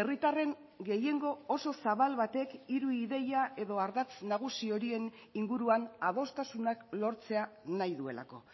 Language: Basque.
herritarren gehiengo oso zabal batek hiru ideia edo ardatz nagusi horien inguruan adostasunak lortzea nahi duelako